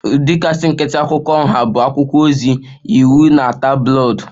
The kasị nkịtị akwụkwọ nha bụ akwụkwọ ozi, iwu na tabloid